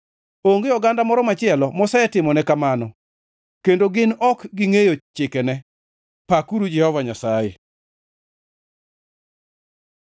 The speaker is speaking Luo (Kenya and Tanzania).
Onge oganda moro machielo mosetimone kamano kendo gin ok gingʼeyo chikene. Pakuru Jehova Nyasaye!